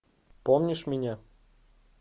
помнишь меня